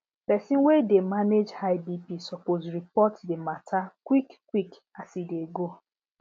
pesin wey dey manage high bp suppose report the matter quick quick as e dey go